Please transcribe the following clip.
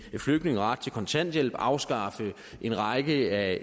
flygtninge ret til kontanthjælp afskaffe en række af